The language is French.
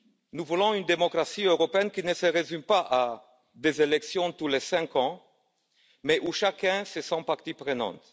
Nous voulons une démocratie européenne qui ne se résume pas à des élections tous les cinq ans, mais dans laquelle chacun se sent partie prenante